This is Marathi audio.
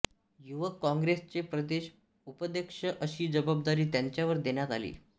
युवक काँग्रेसचे प्रदेश उपाध्यक्ष अशी जबाबदारी त्यांच्यावर देण्यात आली